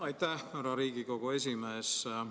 Aitäh, härra Riigikogu esimees!